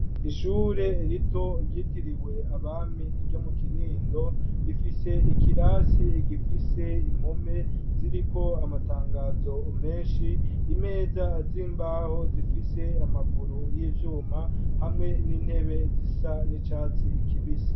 Ishure rito ryitiriwe abami iryo mu kinindo rifise ikirasi egifise impome ziriko amatangazo menshi imeza azimbaho zifise amaguru y'ivyuma hamwe n'intebe zisa n'icatsi ikibisa.